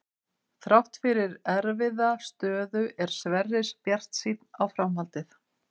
Þrátt fyrir erfiða stöðu er Sverrir bjartsýnn á framhaldið.